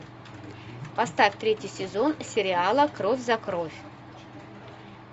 поставь третий сезон сериала кровь за кровь